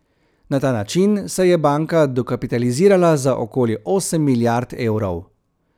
Na ta način se je banka dokapitalizirala za okoli osem milijard evrov.